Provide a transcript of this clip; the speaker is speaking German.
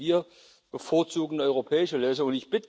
Also wir bevorzugen europäische Lösungen.